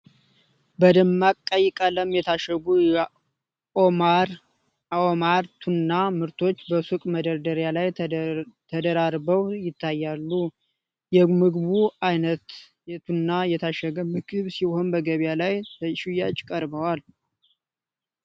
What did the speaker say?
በደማቅ ቀይ ቀለም የታሸጉ የኦማር ኦማር ቱና ምርቶች በሱቅ መደርደሪያ ላይ ተደራርበው ይታያሉ። የምግቡ ዓይነት የቱና የታሸገ ምግብ ሲሆን፣ በገበያ ላይ ለሽያጭ ቀርቧል።